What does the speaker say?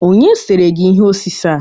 Onye sere gi ihe osise a?